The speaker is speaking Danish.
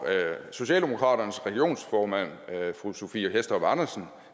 socialdemokraternes regionsformand fru sophie hæstorp andersen